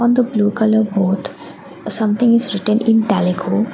the blue colour board something is written in telugu.